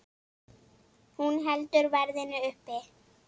Hún heldur verðinu uppi.